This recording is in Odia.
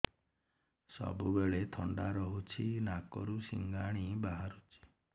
ସବୁବେଳେ ଥଣ୍ଡା ରହୁଛି ନାକରୁ ସିଙ୍ଗାଣି ବାହାରୁଚି